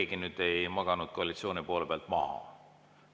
Ega keegi ei maganud koalitsiooni poole pealt maha.